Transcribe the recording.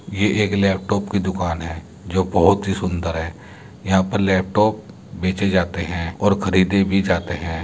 ये एक लैपटॉप की दुकान है जो बोहोत ही सुंदर है। यहाँ पर लैपटॉप बेचे जाते हैं और खरीदे भी जाते हैं।